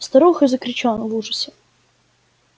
старуха закричала в ужасе